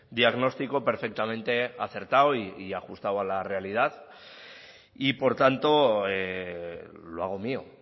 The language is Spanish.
diagnóstico perfectamente acertado y ajustado a la realidad y por tanto lo hago mío